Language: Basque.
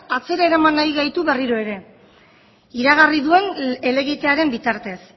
atzera eraman nahi gaitu berriro ere iragarri duen helegitearen bitartez